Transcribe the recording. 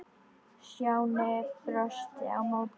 Stjáni brosti á móti.